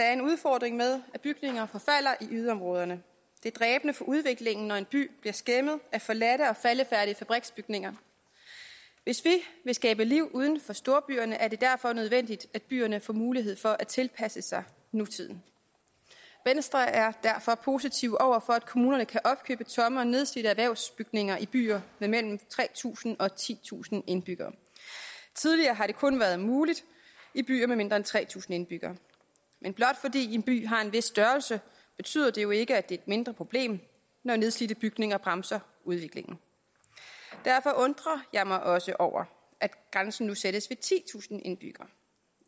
er en udfordring med at bygninger forfalder i yderområderne det er dræbende for udviklingen når en by bliver skæmmet af forladte og faldefærdige fabriksbygninger hvis vi vil skabe liv uden for storbyerne er det derfor nødvendigt at byerne får mulighed for at tilpasse sig nutiden venstre er derfor positive over for at kommunerne kan opkøbe tomme og nedslidte erhvervsbygninger i byer med mellem tre tusind og titusind indbyggere tidligere har det kun været muligt i byer med mindre end tre tusind indbyggere men blot fordi en by har en vis størrelse betyder det jo ikke at det er et mindre problem når nedslidte bygninger bremser udviklingen derfor undrer jeg mig også over at grænsen nu sættes ved titusind indbyggere